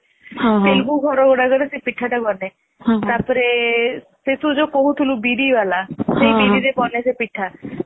ତେଲଗୁ ଘରମାନନ୍କାରେ ସେଇ ପିଠା ଟା ବନେ ତାପରେ ତୁ ଯୋଉ ସବୁ କହୁଥିଲୁ ବିରି ବାଲା ସେ ବିରିରେ ବନେ ସେ ପିଠା